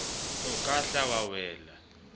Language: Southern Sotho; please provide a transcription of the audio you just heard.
o ka hla wa wela